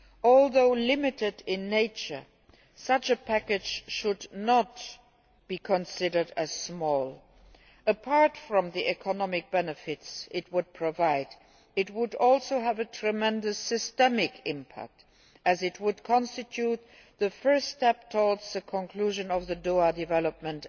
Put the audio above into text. Although limited in nature, such a package should not be considered small. Apart from the economic benefits it would provide, it would also have a tremendous systemic impact as it would constitute the first step towards the conclusion of the Doha Development